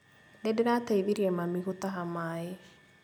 Nĩndĩrateithirie mami gũtaha maĩ